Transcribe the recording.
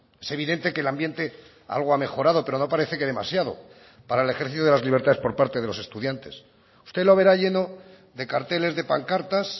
es evidente que el ambiente algo ha mejorado pero no parece que demasiado para el ejercicio de las libertades por parte de los estudiantes usted lo verá lleno de carteles de pancartas